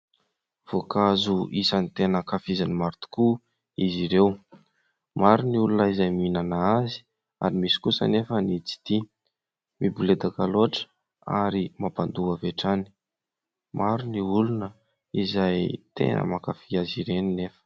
Voankazo isany tena ankafizin'ny maro tokoa izy ireo. Maro ny olona izay mihinana azy ary misy kosa anefa ny tsy tia ; miboledaka loatra ary mampandoa avy hatrany. Maro ny olona izay tena mankafy azy ireny nefa.